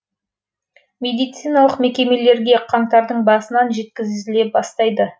медициналық мекемелерге қаңтардың басынан жеткізіле бастайды